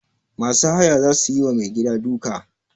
Masu haya za su yi wa mai gida duka.